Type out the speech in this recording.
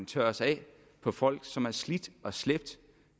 tørres af på folk som har slidt og slæbt